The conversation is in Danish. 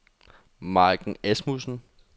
Majken Asmussen